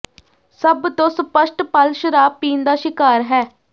ਸਭ ਤੋਂ ਸਪੱਸ਼ਟ ਪਲ ਸ਼ਰਾਬ ਪੀਣ ਦਾ ਸ਼ਿਕਾਰ ਹੈ